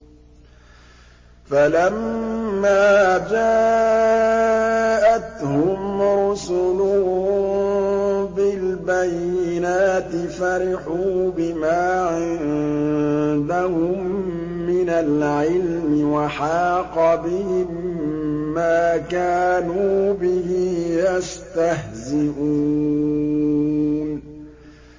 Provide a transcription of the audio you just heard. فَلَمَّا جَاءَتْهُمْ رُسُلُهُم بِالْبَيِّنَاتِ فَرِحُوا بِمَا عِندَهُم مِّنَ الْعِلْمِ وَحَاقَ بِهِم مَّا كَانُوا بِهِ يَسْتَهْزِئُونَ